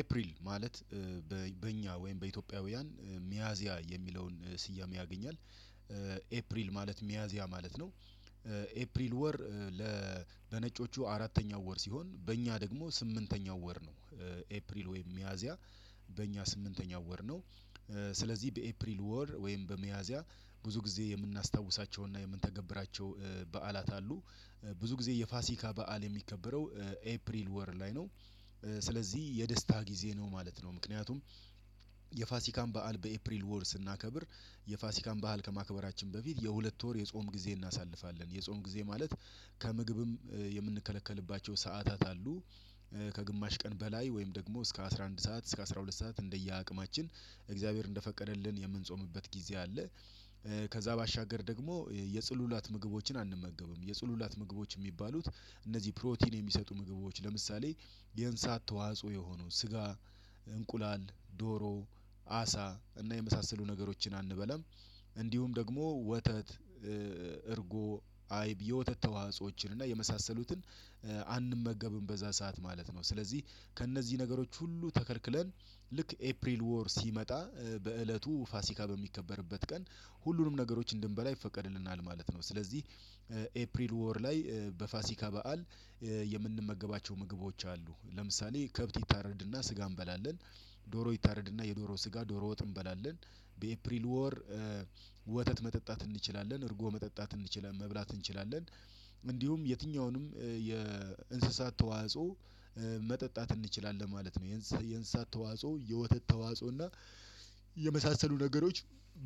ኤፕሪል ማለት በእኛ ወይም በኢትዮጵያውያን ሚያዚያ የሚለውን ስያሜ ያገኛል። ኤፕሪል ማለት ሚያዚያ ማለት ነው። ኤፕሪል ወር ለነጮቹ አራተኛው ወር ሲሆን በእኛ ደግሞ ስምንተኛው ወር ነው። ኤፕሪል ወይም ሚያዚያ በእኛ ስምንተኛው ወር ነው። ስለዚህ በኤፕሪል ወር ወይም በሚያዚያ ብዙ ጊዜ የምናስታውሳቸውና የምንተገብራቸው በዓላት አሉ። ብዙ ጊዜ የፋሲካ በዓል የሚከበረው ኤፕሪል ወር ላይ ነው። ስለዚህ የደስታ ጊዜ ነው ማለት ነው። ምክንያቱም የፋሲካን በዓል በኤፕሪል ወር ስናከብር የፋሲካን በዓል ከማክበራችን በፊት የሁለት ወር የጾም ጊዜ እናሳልፋለን የጾም ጊዜ ማለት ከምግብም የምንከለከልባቸው ሰዓታት አሉ። ከግማሽ ቀን በላይ ወይም ደግሞ እስከ አስራ አንድ ሰዓት እስከ አስራ ሁለት ሰዓት እንደየ አቅማችን እግዚአብሔር እንደፈቀደልን የምንጾምበት ጊዜ አለ። ከዛ ባሻገር ደግሞ የጽሉላት ምግቦችን አንመገብም የጽሉላት ምግቦች የሚባሉት እነዚህ ፕሮቲን የሚሰጡ ምግቦች ለምሳሌ የንሳት ተዋጽኦ የሆኑ ስጋ እንቁላል ዶሮ አሳ እና የመሳሰሉ ነገሮችን አንበላም። እንዲሁም ደግሞ ወተት እርጎ አይብ የወተት ተዋህፆዎችን እና የመሳሰሉትን አንመገብም። በዛ ሰዓት ማለት ነው ስለዚህ ከእነዚህ ነገሮች ሁሉ ተከልክለን ልክ ኤፕሪል ወር ሲመጣ በእለቱ ፋሲካ በሚከበርበት ቀን ሁሉንም ነገሮች እንድንበላ ይፈቀድልናል ማለት ነው። ስለዚህ ኤፕሪል ወር ላይ በፋሲካ በዓል የምንመገባቸው ምግቦች አሉ ለምሳሌ ከብት ይታረድና ስጋ እንበላለን። ዶሮ ይታረድና የዶሮ ስጋ ዶሮ ወጥ እንበላለን። በኤፕሪል ወር ወተት መጠጣት እንችላለን እርጎ መጠጣት እንችላለን መብላት እንችላለን እንዲሁም የትኛውንም የእንስሳት ተዋጽኦ መጠጣት እንችላለን ማለት ነው። የእንስሳት ተዋጽኦ የወተት ተዋጽኦ እና የመሳሰሉ ነገሮች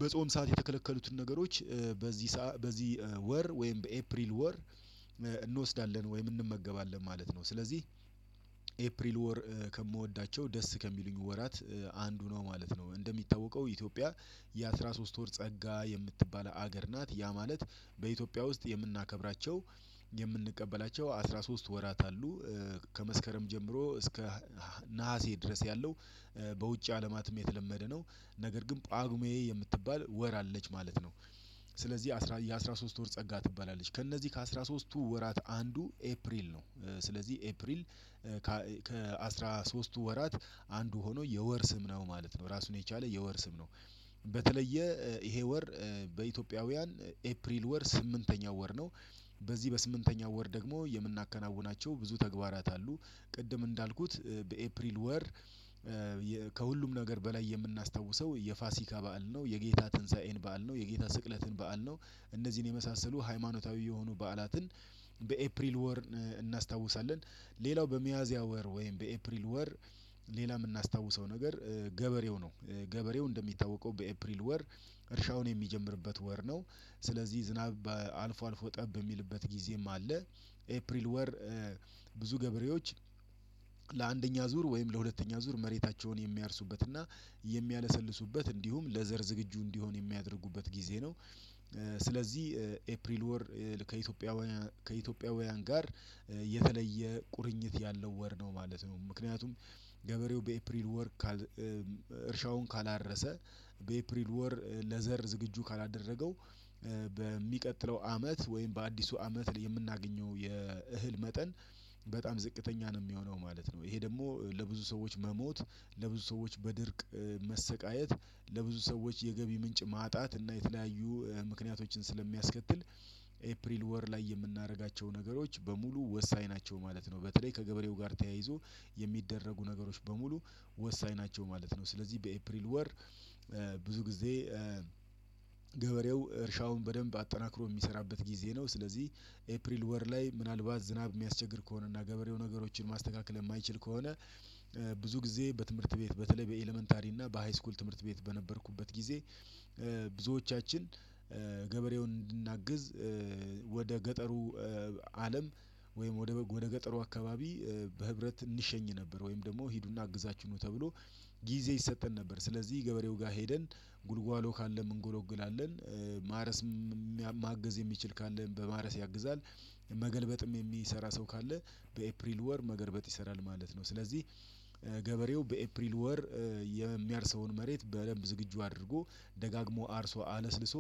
በጾም ሰዓት የተከለከሉትን ነገሮች በዚህ በዚህ ወር ወይም በኤፕሪል ወር እንወስዳለን ወይም እንመገባለን ማለት ነው። ስለዚህ ኤፕሪል ወር ከምወዳቸው ደስ ከሚሉኝ ወራት አንዱ ነው ማለት ነው። እንደሚታወቀው ኢትዮጵያ የአሥራ ሶስት ወር ጸጋ የምትባል ሀገር ናት ያ ማለት በኢትዮጵያ ውስጥ የምናከብራቸው የምንቀበላቸው አስራ ሶስት ወራት አሉ። ከመስከረም ጀምሮ እስከ ነሀሴ ድረስ ያለው በውጭ አለማትም የተለመደ ነው። ነገር ግን ጳጉሜ የምትባል ወር አለች ማለት ነው። ስለዚህ የአሥራ ሶስት ወር ጸጋ ትባላለች ከእነዚህ ከአሥራ ሦስትቱ ወራት አንዱ ኤፕሪል ነው። ስለዚህ ኤፕሪል ከአሥራ ሦስትቱ ወራት አንዱ ሆኖ የወር ስም ነው ማለት ነው ራሱን የቻለ የወር ስም ነው። በተለየ ይሄ ወር በኢትዮጵያውያን ኤፕሪል ወር ስምንተኛው ወር ነው። በዚህ በስምንተኛው ወር ደግሞ የምናከናውናቸው ብዙ ተግባራት አሉ። ቅድም እንዳልኩት በኤፕሪል ወር ከሁሉም ነገር በላይ የምናስታውሰው የፋሲካ በዓል ነው የጌታ ትንሳኤን በዓል ነው የጌታ ስቅለትን በዓል ነው እነዚህን የመሳሰሉ ሃይማኖታዊ የሆኑ በዓላትን በኤፕሪል ወር እናስታውሳለን። ሌላው በሚያዚያ ወር ወይም በኤፕሪል ወር ሌላ የምናስታውሰው ነገር ገበሬው ነው ገበሬው እንደሚታወቀው በኤፕሪል ወር እርሻውን የሚጀምርበት ወር ነው። ስለዚህ ዝናብ በአልፎ አልፎ ጠብ የሚልበት ጊዜም አለ። ኤፕሪል ወር ብዙ ገበሬዎች ለአንደኛ ዙር ወይም ለሁለተኛ ዙር መሬታቸውን የሚያርሱበትና የሚያለሰልሱበት እንዲሁም ለዘር ዝግጁ እንዲሆን የሚያደርጉበት ጊዜ ነው። ስለዚህ ኤፕሪል ወር ከኢትዮጵያ ከኢትዮጵያውያን ጋር የተለየ ቁርኝት ያለው ወር ነው ማለት ነው። ምክንያቱም ገበሬው በኤፕሪል ወር እርሻውን ካላረሰ በኤፕሪል ወር ለዘር ዝግጁ ካላደረገው በሚቀጥለው አመት ወይም በአዲሱ አመት የምናገኘው የእህል መጠን በጣም ዝቅተኛ ነው የሚሆነው ማለት ነው። ይሄ ደግሞ ለብዙ ሰዎች መሞት ለብዙ ሰዎች በድርቅ መሰቃየት ለብዙ ሰዎች የገቢ ምንጭ ማጣት እና የተለያዩ ምክንያቶችን ስለሚያስከትል ኤፕሪል ወር ላይ የምናደርጋቸው ነገሮች በሙሉ ወሳኝ ናቸው ማለት ነው። በተለይ ከገበሬው ጋር ተያይዞ የሚደረጉ ነገሮች በሙሉ ወሳኝ ናቸው ማለት ነው። ስለዚህ በኤፕሪል ወር ብዙ ጊዜ ገበሬው እርሻውን በደንብ አጠናክሮ የሚሰራበት ጊዜ ነው። ስለዚህ ኤፕሪል ወር ላይ ምናልባት ዝናብ የሚያስቸግር ከሆነና ገበሬው ነገሮችን ማስተካከል የማይችል ከሆነ ብዙ ጊዜ በትምህርት ቤት በተለይ በኤለመንታሪ እና በሃይስኩል ትምህርት ቤት በነበርኩበት ጊዜ ብዙዎቻችን ገበሬውን እንድናግዝ ወደ ገጠሩ አለም ወይም ወደ ገጠሩ አካባቢ በህብረት እንሸኝ ነበር ወይም ደግሞ ሂዱና አግዛችሁ ነው ተብሎ ጊዜ ይሰጠን ነበር ስለዚህ ገበሬው ጋር ሄደን ጉልጓሎ ካለ እንጎለግላለን ማረስም ማገዝ የሚችል ካለን በማረስ ያግዛል። መገልበጥም የሚሰራ ሰው ካለ በኤፕሪል ወር መገልበጥ ይሰራል ማለት ነው። ስለዚህ ገበሬው በኤፕሪል ወር የሚያርሰውን መሬት በደንብ ዝግጁ አድርጎ ደጋግሞ አርሶ አለስልሶ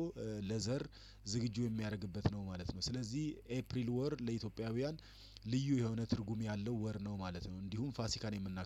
ለዘር ዝግጁ የሚያደርግበት ነው ማለት ነው። ስለዚህ ኤፕሪል ወር ለኢትዮጵያውያን ልዩ የሆነ ትርጉም ያለው ወር ነው ማለት ነው። እንዲሁም ፋሲካን የምናክ